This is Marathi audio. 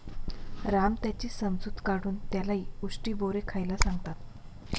राम त्याची समजूत काढून त्यालाही उष्टी बोरे खायला सांगतात.